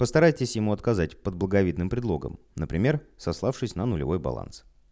постарайтесь ему отказать под благовидным предлогом например сославшись на нулевой баланс